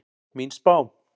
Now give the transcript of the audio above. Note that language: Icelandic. Mín spá?